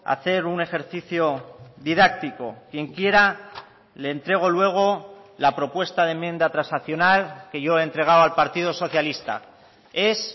a hacer un ejercicio didáctico quien quiera le entrego luego la propuesta de enmienda transaccional que yo he entregado al partido socialista es